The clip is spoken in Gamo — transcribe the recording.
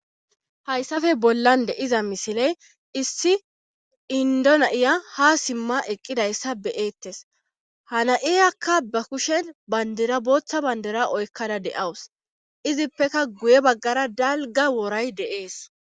hayssafe bollan de7iza misiley issi indo na7iya ha simma eqqidayssa be7eettes hana7iyakka ba kushen bandira booththa bandera oykkada de7awus izippeka guye baggara dalga woray de7ees